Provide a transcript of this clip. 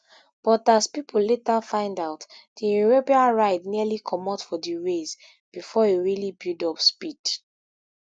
but as pipo later find out di european ride nearly comot from di rails before e really build up speed